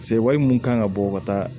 wari mun kan ka bɔ ka taa